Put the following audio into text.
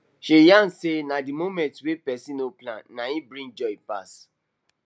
she yarn say na the moments way person no plan nai dey bring joy pass